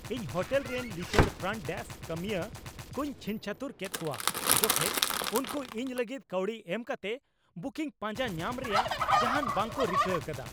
ᱤᱧ ᱦᱳᱴᱮᱞ ᱨᱮᱱ ᱞᱤᱪᱟᱹᱲ ᱯᱷᱨᱚᱱᱴ ᱰᱮᱥᱠ ᱠᱟᱹᱢᱤᱭᱟᱹ ᱠᱚᱧ ᱪᱷᱤᱝᱪᱷᱟᱹᱛᱩᱨ ᱠᱮᱫ ᱠᱚᱣᱟ ᱡᱚᱠᱷᱮᱡ ᱩᱱᱠᱩ ᱤᱧ ᱞᱟᱹᱜᱤᱫ ᱠᱟᱹᱣᱰᱤ ᱮᱢ ᱠᱟᱛᱮ ᱵᱩᱠᱤᱝ ᱯᱟᱸᱡᱟ ᱧᱟᱢ ᱨᱮᱭᱟᱜ ᱡᱟᱦᱟᱱ ᱵᱟᱝ ᱠᱚ ᱨᱤᱠᱟᱹ ᱟᱠᱟᱫᱟ ᱾